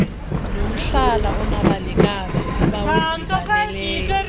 nomhlala onabanikazi abawudibaneleyo